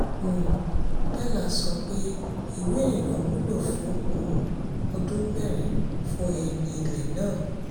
um pella sọ pé ìwé ìrìnnà wúlò fún um ọdún mẹ́rin fún ẹni ilé náà.